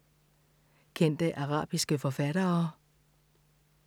Kendte arabiske forfattere